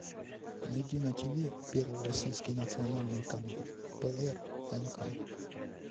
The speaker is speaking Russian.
найди на тв первый российский национальный канал прнк